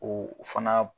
O fana